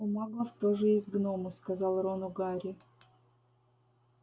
у маглов тоже есть гномы сказал рону гарри